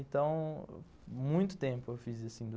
Então, muito tempo eu fiz isso.